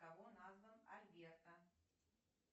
кого назван альберто